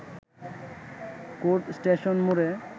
court station মোড়ে